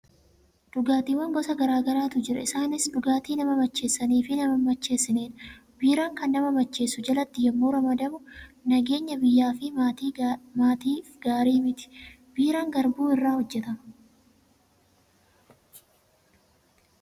Dhugaatiiwwan gosa garaa garaatu jiru. Isaanis dhugaatii nama macheessanii fi nama hin macheessinedha. Biiraan kan nama macheessu jalatti yommuu ramadamu, nageenya biyyaa fi maatiif gaarii miti. Biiraan garbuu irraa hojjetama.